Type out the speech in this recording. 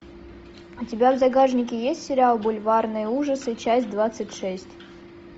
у тебя в загашнике есть сериал бульварные ужасы часть двадцать шесть